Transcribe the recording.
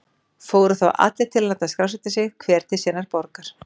Fóru þá allir til að láta skrásetja sig, hver til sinnar borgar.